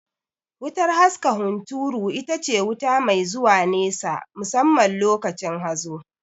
Wutar haska hunturu itace wuta mai zuwa nesa musamman lokacin hazo